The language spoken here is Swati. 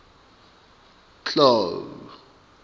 clau